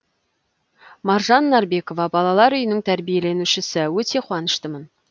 маржан нарбекова балалар үйінің тәрбиеленушісі өте қуаныштымын